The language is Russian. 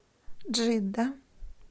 джидда